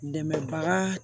Dɛmɛbaga